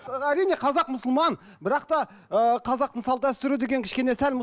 әрине қазақ мұсылман бірақ та ыыы қазақтың салт дәстүрі деген кішкене сәл